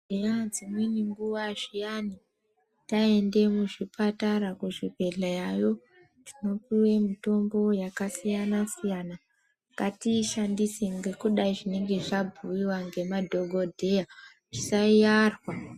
Zviani dzimwe nguva zviani taende muzvipatara kuzvibhedlera yo, tinopiwe mitombo yakasiyana siyana, ngatiyishandise ngekuda zvinenge zvabhuyiwa ngemadhogodheya tisayarwa.